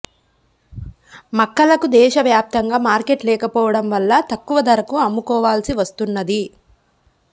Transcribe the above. మక్కలకు దేశ వ్యాప్తంగా మార్కెట్ లేకపోవడం వల్ల తక్కువ ధరకు అమ్ముకోవాల్సి వస్తున్నది